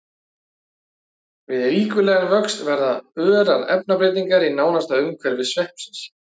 Við ríkulegan vöxt verða örar efnabreytingar í nánasta umhverfi sveppsins.